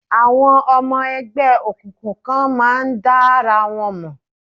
Àwọn ọmọ ẹgbẹ́ òkùnkùn kan máa ń dára wọn mọ̀.